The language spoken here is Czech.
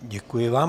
Děkuji vám.